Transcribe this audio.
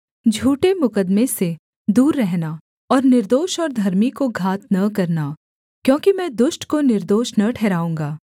झूठे मुकद्दमे से दूर रहना और निर्दोष और धर्मी को घात न करना क्योंकि मैं दुष्ट को निर्दोष न ठहराऊँगा